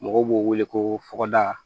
Mɔgɔw b'o wele ko fɔgɔda